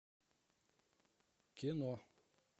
кино